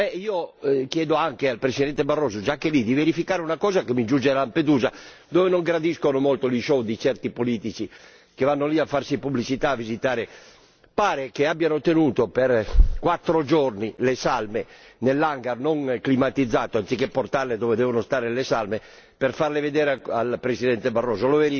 Io chiedo anche al Presidente Barroso già che è lì di verificare una cosa che mi giunge da Lampedusa dove non gradiscono molto gli show di certi politici che vanno lì a farsi pubblicità, a visitare Pare che abbiano tenuto per 4 giorni le salme nell'hangar non climatizzato anziché portarle dove devono stare le salme per farle vedere al Presidente Barroso.